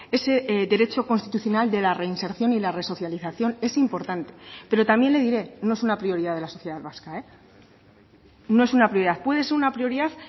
ese derecho constitucional de la reinserción y la resocialización es importante pero también le diré no es una prioridad de la sociedad vasca no es una prioridad puede ser una prioridad